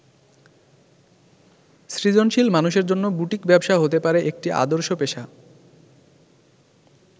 সৃজনশীল মানুষের জন্য বুটিক ব্যবসা হতে পারে একটি আদর্শ পেশা।